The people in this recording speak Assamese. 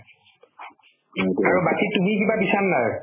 আৰু বাকি তুমি কিবা দিছানে নাই